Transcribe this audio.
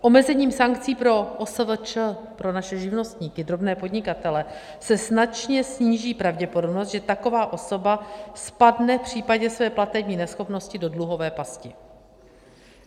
Omezením sankcí pro OSVČ, pro naše živnostníky, drobné podnikatele, se značně sníží pravděpodobnost, že taková osoba spadne v případě své platební neschopnosti do dluhové pasti.